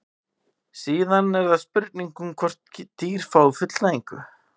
síðan er það spurningin um hvort dýr fái fullnægingu